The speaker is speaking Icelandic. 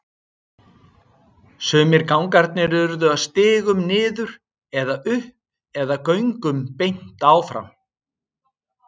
Sumir gangarnir urðu að stigum niður eða upp eða göngum beint áfram.